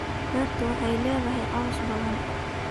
Beertaadu waxay leedahay caws badan